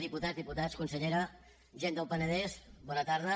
diputades diputats consellera gent del penedès bona tarda